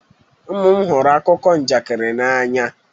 Ụmụ m hụrụ akụkọ njakịrị n'anya